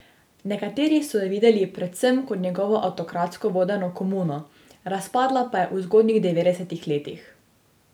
Nekateri so jo videli predvsem kot njegovo avtokratsko vodeno komuno, razpadla pa je v zgodnjih devetdesetih letih.